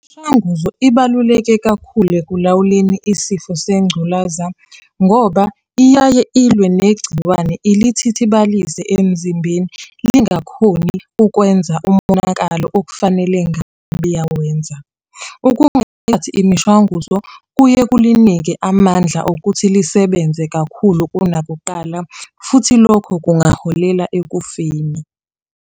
Mshanguzo ibaluleke kakhulu ekulawuleni isifo sengculaza ngoba iyaye ilwe negciwane ilithithibalise emzimbeni lingakhoni ukwenza umonakalo okufanele ngabe iyawenza. imishwanguzo kuye kulinike amandla okuthi lisebenze kakhulu kunakuqala, futhi lokho kungaholela ekufeni.